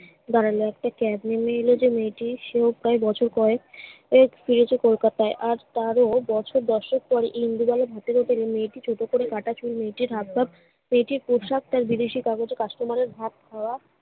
দাঁড়ালো। একটা cab নেমে এলো যে মেয়েটি সেও প্রায় বছর কয়েক এই ফিরেছে কলকাতায়। আজ তারও বছর দশেক পর ইন্দুবালা ভাতের হোটেলে মেয়েটি ছোট করে কাটা চুল মেয়েটির হাবভাব, মেয়েটির পোশাক তার বিদেশি কাগজে customer এর ভাত খাওয়া